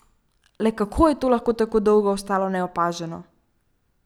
Le kako je to lahko tako dolgo ostalo neopaženo?